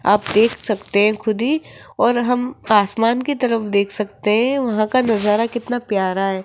आप देख सकते हैं खुद ही और हम आसमान की तरफ देख सकते हैं वहां का नजारा कितना प्यारा है।